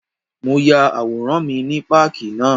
Mo ya àwòrán mi ní páàkì náà.